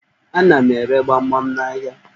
Ana m ere gbamgbam n'ahịa.